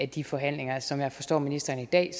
de forhandlinger som jeg forstår ministeren i dag